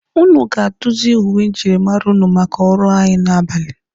Ụnụ ga-aduzi uwe njirimara ụnụ maka ọrụ anyị n'abalị